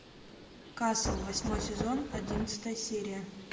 касл восьмой сезон одиннадцатая серия